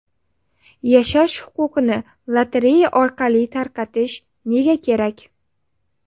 Yashash huquqini lotereya orqali tarqatish nega kerak?